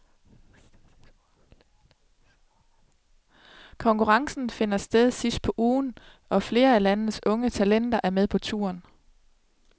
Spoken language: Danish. Konkurrencen finder sted sidst på ugen, og flere af landets unge talenter er med på turen.